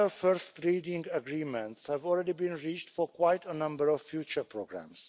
Partial first reading agreements have already been reached for quite a number of future programmes.